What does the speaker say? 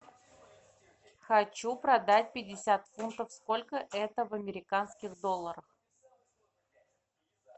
хочу продать пятьдесят фунтов сколько это в американских долларах